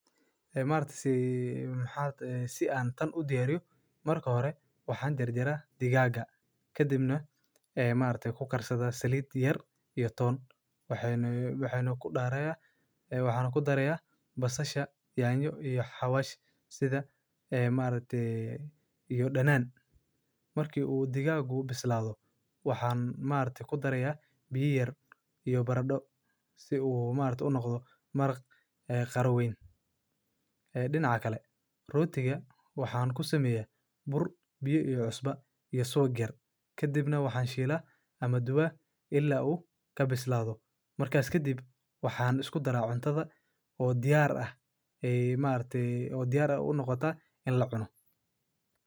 Ee maragte si an tan u diyariyo, dhexe, waxaan ugu yaraa dhigaa ahaan. Waxaan jirin doono inay kala duwan oo qof kale oo ah ugu yaraan. Waxaan ka hor intaa iminka iyo muddooyin. Maalinta, sida ay xaq u tahay, maalinta dhammaan, maalin kasta oo la xaqiijinayo inay ka helaan.